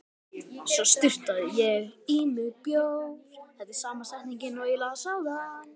Svo sturtaði ég í mig bjór.